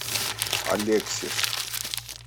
алексис